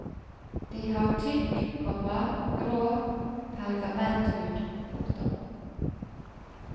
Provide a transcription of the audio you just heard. De har tykk, komma grå pergamenthud. punktum